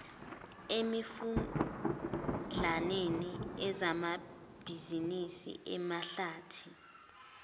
emifudlaneni ezamabhizinisi amahlathi